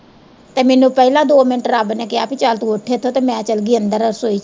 ਤੇ ਮੈਨੂੰ ਪਹਿਲਾੰ ਦੋ ਮਿੰਟ ਰੱਬ ਨੇ ਕਿਹਾ ਭੀ ਚੱਲ ਤੂੰ ਉੱਠ ਇੱਥੋਂ ਤੇ ਮੈਂ ਚੱਲਗੀ ਅੰਦਰ ਰਸੋਈ।